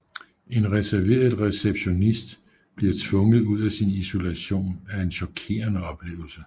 En reserveret receptionist bliver tvunget ud af sin isolation af en chokerende oplevelse